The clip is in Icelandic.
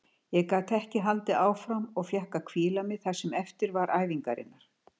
Ég gat ekki haldið áfram og fékk að hvíla mig það sem eftir var æfingarinnar.